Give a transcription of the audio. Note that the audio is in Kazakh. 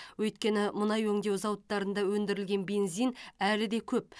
өйткені мұнай өңдеу зауыттарында өндірілген бензин әлі де көп